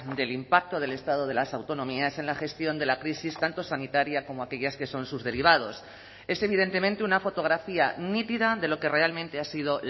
del impacto del estado de las autonomías en la gestión de la crisis tanto sanitaria como aquellas que son sus derivados es evidentemente una fotografía nítida de lo que realmente ha sido